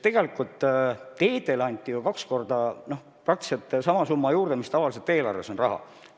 Tegelikult teedele anti ju juurde praktiliselt sama suur summa, kui tavaliselt eelarves nende jaoks on.